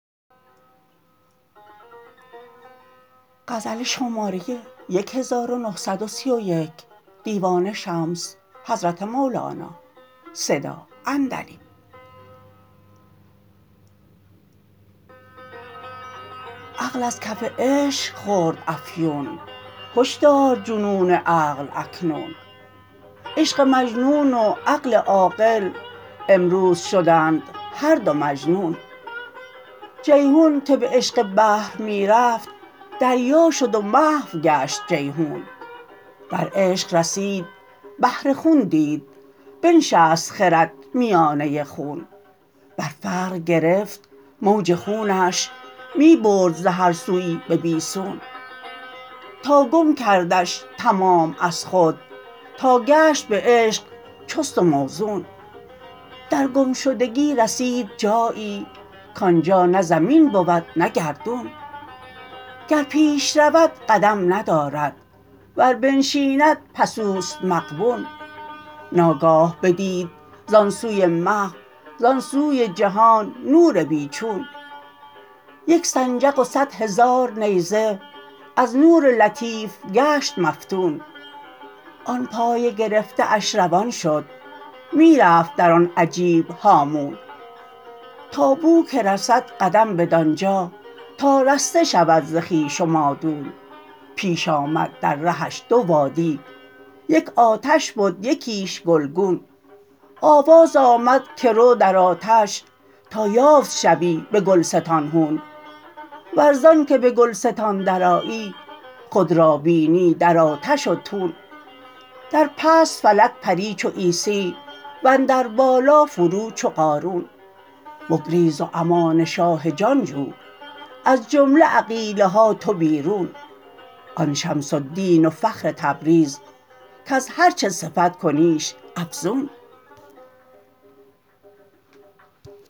عقل از کف عشق خورد افیون هش دار جنون عقل اکنون عشق مجنون و عقل عاقل امروز شدند هر دو مجنون جیحون که به عشق بحر می رفت دریا شد و محو گشت جیحون در عشق رسید بحر خون دید بنشست خرد میانه خون بر فرق گرفت موج خونش می برد ز هر سوی به بی سون تا گم کردش تمام از خود تا گشت به عشق چست و موزون در گم شدگی رسید جایی کان جا نه زمین بود نه گردون گر پیش رود قدم ندارد ور بنشیند پس او است مغبون ناگاه بدید زان سوی محو زان سوی جهان نور بی چون یک سنجق و صد هزار نیزه از نور لطیف گشت مفتون آن پای گرفته اش روان شد می رفت در آن عجیب هامون تا بو که رسد قدم بدان جا تا رسته شود ز خویش و مادون پیش آمد در رهش دو وادی یک آتش بد یکیش گلگون آواز آمد که رو در آتش تا یافت شوی به گلستان هون ور زانک به گلستان درآیی خود را بینی در آتش و تون بر پشت فلک پری چو عیسی و اندر بالا فرو چو قارون بگریز و امان شاه جان جو از جمله عقیله ها تو بیرون آن شمس الدین و فخر تبریز کز هر چه صفت کنیش افزون